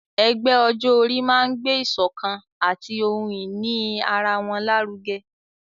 Ẹgbẹ́ ọjọ́ orí máa ń gbé ìsọ̀kan àti ohun ìní ara wọn lárugẹ.